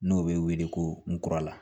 N'o bɛ wele ko nkura la